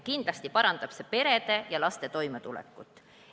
Kindlasti parandab see perede ja laste toimetulekut.